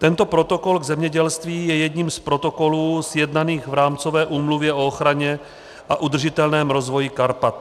Tento protokol v zemědělství je jedním z protokolů sjednaných v Rámcové úmluvě o ochraně a udržitelném rozvoji Karpat.